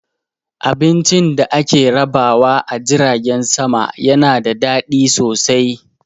Abincin da ake rabawa a jiragen sama yana da daɗi sosai